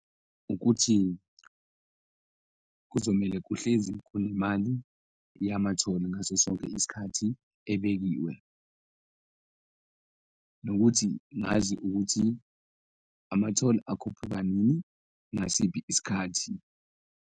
Ukuthi kuzomele kuhlezi kukhona imali yama-toll-i ngaso sonke isikhathi ebekiwe nokuthi ngazi ukuthi ama-toll akhuphuka nini, ngasiphi isikhathi.